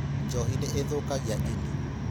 Njohi nĩ ĩthũkagia ini.